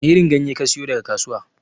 Wani irin ganye kasiyo daga kasuwa?